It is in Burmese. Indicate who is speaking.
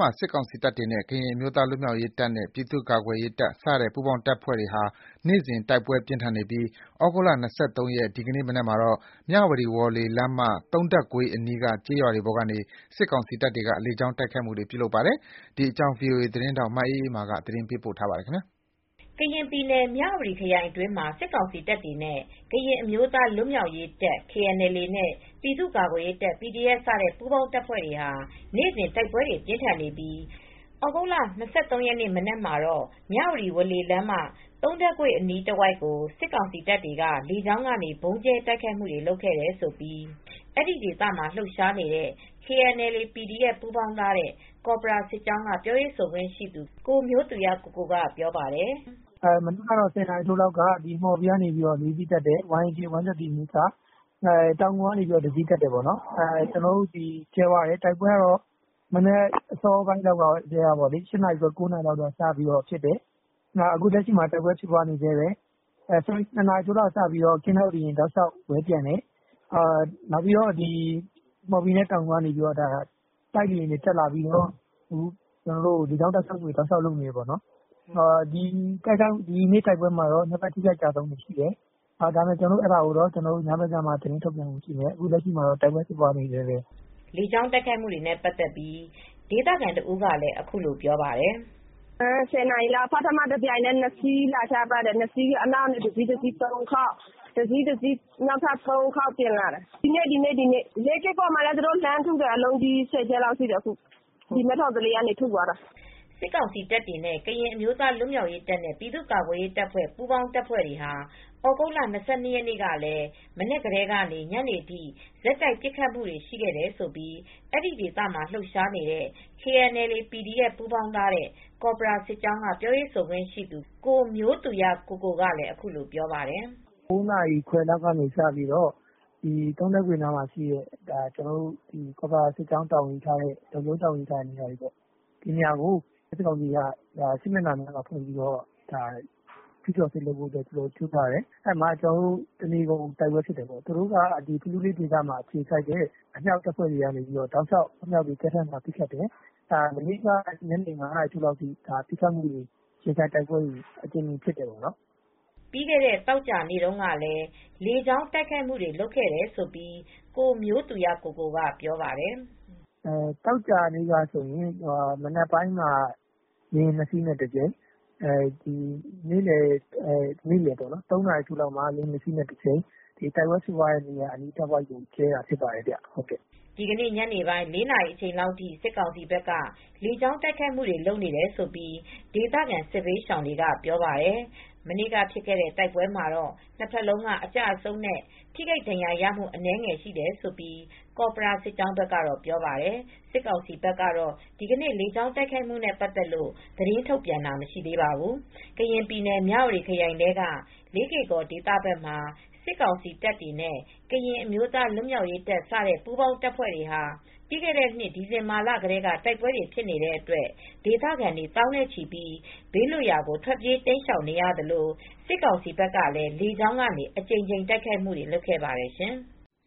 Speaker 1: မှာ စစ်ကောင်စီတပ်တွေနဲ့ ကရင်အမျိုးသား လွတ်မြောက်ရေးတပ်နဲ့ ပြည်သူ့ ကာကွယ်ရေး ပူးပေါင်းတပ်ဖွဲ့တွေကြား နေ့စဉ် တိုက်ပွဲတွေ ပြင်းထန်နေပါတယ်။ ဒီကနေ့ သြဂုတ်လ၂၃ ရက်နေ့ မနက်မှာတော့ မြဝတီ ဝေါ်လေလမ်းမ သုံးထပ်ကွေးအနီးက ကျေးရွာတွေပေါ်ကို စစ်ကောင်စီတပ်တွေက လေကြောင်းတိုက်ခိုက်ခဲ့တယ်လို့ ဒေသခံတွေက ပြောပါတယ်။ ထိုင်းအခြေစိုက် ဗွီအိုအေမြန်မာပိုင်း သတင်းထောက် မအေးအေးမာက သတင်း ပေးပို့ထားပါတယ်။
Speaker 2: ကရင်ပြည်နယ် မြဝတီခရိုင်အတွင်းမှာ စစ်ကောင်စီတပ်တွေနဲ့ ကရင်အမျိုးသားလွတ်မြောက်ရေးတပ် KNLA နဲ့ ပြည်သူ့ကာကွယ်ရေးတပ် PDF စတဲ့ပူးပေါင်းတပ်ဖွဲ့တွေဟာ နေ့စဉ် တိုက်ပွဲတွေပြင်းထန်နေပြီး သြဂုတ်လ၂၃ ရက်နေ့ မနက်မှာတော့ မြဝတီ ဝေါ်လေ လမ်းမ သုံးထပ်ကွေ့အနီးတဝိုက်ကို စစ်ကောင်စီတပ်တွေကလေကြောင်းကနေ ဗုံးကြဲတိုက်ခိုက်ခဲ့တယ်လို့ အဲဒီဒေသမှာလှုပ်ရှားနေတဲ့ KNLA /PDF ပူးပေါင်းထားတဲ့ ကော်ပရာစစ်ကြောင်းက ပြောရေးဆိုခွင့်ရှိသူ ကိုမျိုးသူရကိုကိုက ပြောပါတယ်
Speaker 1: ။ “မနက် ၁၀ နာရီထိုးလောက်တော့ မှော်ဘီကနေ ၄ စီးတက်တယ်။ YAK 130 အမျိုးအစား တောင်ငူကနေ တစီးတက်တယ်။ တိုက်ပွဲကတော့ မနက် ၈ နာရီ ၉ နာရီလောက်ကတည်းက ဖြစ်နေတယ်။ နေလယ် ၂ နာရီထိုးလောက်ကနေစပြီးတော့ ကင်းထောက်လေ ယာဉ်တွေလည်း ဝဲပျံတယ်။ မှော်ဘီနဲ့တောင်ငူကနေ တိုက်လေယာဉ်တွေ တက်လာပြီးတော့ ကျနော်တို့ကို လေကြောင်းကနေ ဆက်တိုက်လုပ်နေတယ်။ နှစ်ဖက်အထိအခိုက်အကျအဆုံးတွေရှိတယ်။ သတင်းကတော့ ညဘက်ကျမှ ကျနော်တို့ ထုတ်ပြန်ပါမယ်
Speaker 2: ။ အခုလောလောဆယ်တော့ တိုက်ပွဲတွေဖြစ်နေတုန်းပဲ။” လေကြောင်း တိုက်ခိုက်မှုတွေနဲ့ပတ်သက်ပြီး ဒေသခံတဦးကလည်း အခုလိုပြောပြပါတယ်။ “၁၀ နာရီလောက်က တပြိုင်တည်း ၂ စီးလာချတယ်။ နောက်ကတစီး၊ တစီး ၃ ခေါက်။ နောက်က တစီးတစီးနဲ့ ၃ ခေါက်လာတယ်။ ဒီနေ့ ဒီနေ့ပဲ။ လေးကေ့ကော်ဘက်ကိုလည်းအလုံးကြီး တွေနဲ့လှမ်းထုနေတယ်။ မဲထော်သလေးကျေးရွာဘက်ကနေ ၁၀ ကြိမ်လောက်ထုတယ်။” စစ်ကောင်စီတပ်တွေနဲ့ ကရင်အမျိုးသားလွတ်မြောက်ရေးတပ်နဲ့ ပြည်သူ့ကာကွယ်ရေးတပ်ဖွဲ့စတဲ့ ပူးပေါင်းတပ်တွေဟာ သြဂုတ်လ၂၂ ရက်နေ့ကလည်း မနက်ကနေ ညနေထိ ဆက်တိုက် ပစ်ခတ်နေခဲ့တယ်လို့ အဲဒီဒေသမှာလုှပ်ရှားနေတဲ့ KNLA /PDF ပူးပေါင်းထားတဲ့ ကော်ပရာစစ်ကြောင်းက ပြောရေးဆိုခွင့်ရှိသူ ကိုမျိုးသူရကိုကိုက အခုလိုပြောပါတယ်
Speaker 1: ။ “၉ နာရီခွဲလောက်နေစပြီးတော့ သုံးထပ်ကွေ့နားမှာရှိတဲ့ ကျနော်တို့ ကော်ပရာစစ်ကြောင်းတာဝန်ယူထားတဲ့ လုံခြုံရေးတာဝန်ယူထားတဲ့နေရာတွေကို စစ်ကောင်စီဘက်ကနေ စစ် မျက်နှာဖွင့်ပြီး ကျုးကျော်တိုက်ခိုက်တယ်။ တနေကုန် တိုက်ပွဲဖြစ်တယ်။ ဖလူးဘက်မှာအခြေစိုက်တဲ့ သူတို့ရဲ့အမြောက်တပ်တွေကလည် အကြိမ်ကြိမ်ပစ်ခတ်ပါတယ်။ မနေ့ကတော့ ညနေ ၅ နာရီလောက်ထိ ပစ်ခတ်မှုတွေ၊ ရင်ဆိုင်တိုက်ပွဲတွေ အကြိမ်ကြိမ်ဖြစ်တယ်။
Speaker 2: ” ပြီးခဲ့တဲ့သောကြာနေတုန်းကလည်း လေကြောင်းတိုက်ခိုက်မှုတွေလုပ်ခဲ့တယ်လို့ ကိုမျိုးသူရကိုကိုက ပြောပါတယ်
Speaker 1: ။ “သောကြာနေ့ကတော့ မနက်ပိုင်းက လေယာဉ် ၂ စီးနဲ့တကြိမ်၊ နေလယ် ၃ နာရီထိုးလောက်က လေယာဉ်နှစ်စီးနဲ့တကြိမ် တိုက်ပွဲဖြစ်ပွားတဲ့နေရာအနီးတဝိုက်ကို ဗုံးကြဲတာဖြစ်ပါတယ်
Speaker 2: ။” ဒီကနေ့ညနေပိုင်း ၄ နာရီအချိန်လောက်ထိ စစ်ကောင်စီဘက်က လေကြောင်းကနေ တိုက်ခိုက်ခဲတယ်လို့ ဒေသခံ စစ်ဘေးရှောင်တွေကပြောပါတယ်။ မနေ့ကဖြစ်တဲ့တိုက်ပွဲမှာတော့ နှစ်ဘက်လုံးက အကျအဆုံးနဲ့ထိခိုက်ဒဏ်ရာရတာ အနည်းငယ်ရှိတယ်လို့ ကော်ပရာစစ်ကြောင်းဘက်ကပြောပါတယ်။ စစ်ကောင်စီဘက်ကတော့ ဒီကနေ့ လေကြောင်းတိုက်ခိုက်မှုနဲ့ပတ်သက်လို့ သတင်းထုတ်ပြန်တာမရှိသေးပါဘူး။ ကရင်ပြည်နယ် မြဝတီခရိုင်ထဲက လေးကေ့ကော်ဒေသဘက်မှာ စစ်ကောင်စီတပ်တွေနဲ့ ကရင်အမျိုးသားလွတ်မြောက်ရေး တပ်စတဲ့ပူးပေါင်းတပ်ဖွဲ့တွေဟာ ပြီးခဲ့တဲ့နှစ် ဒီဇင်ဘာလကတည်းက တိုက်ပွဲတွေဖြစ်နေတဲ့အတွက် ဒေသခံတွေ သောင်းနဲ့ချီပြီး ဘေးလွတ်ရာကို ထွက်ပြေးတိမ်းရှောင်နေရသလို စစ်ကောင်စီဘက်ကလည်း လေကြောင်းကနေ အကြိမ်ကြိမ်တိုက်ခိုက်ခဲ့ပါတယ်ရှင်။